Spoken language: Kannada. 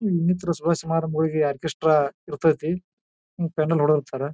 ಇನ್ನಿತರ ಸಭೆ ಸಮಾರಂಭಗಳಿಗೆ ಆರ್ಕೆಸ್ಟ್ರಾ ಇರತೈತಿ ಮತ್ತೆ ಪೆಂಡೆಲ್ ಹೊಡಿತಾರೆ.